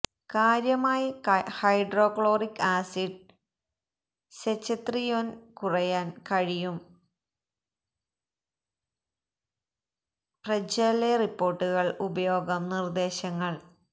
കാര്യമായി hydrochloric acid secretion കുറയ്ക്കാൻ കഴിയും രബെപ്രജൊലെ റിപ്പോർട്ടുകൾ ഉപയോഗം നിർദ്ദേശങ്ങൾ